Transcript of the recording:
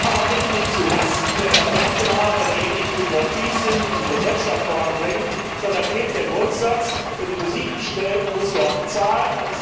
Aber bitte nicht zu Lasten der Patentinhaber, derjenigen, die innovativ sind und unsere Wirtschaft voranbringen. Vielmehr gilt der Grundsatz Wer die Musik bestellt, muss sie auch bezahlen.